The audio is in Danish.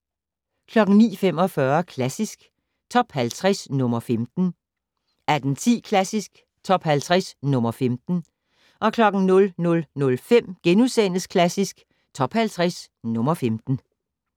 09:45: Klassisk Top 50 - nr. 15 18:10: Klassisk Top 50 - nr. 15 00:05: Klassisk Top 50 - nr. 15 *